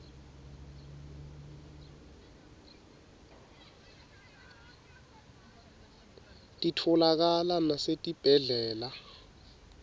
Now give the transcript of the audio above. titfolakala nasetibhedlela